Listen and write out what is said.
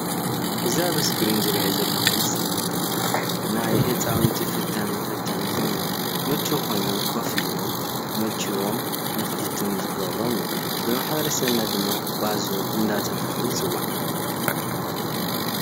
እዚ ኣብ እስክሪን ዝርኦ ዘለኩ ምስሊ ናይ ህፃውነቲ ፍታን መፈተኒ ኮይኑ ምችው ኮይኑ ኮፍ አሎም ንክምችዎም ንክፍትኑ ዝገብሮም እዩ፡፡ ብማሕበረ ሰብና ድማ ባዞ እንዳተባሃለ ይፅዋዕ፡፡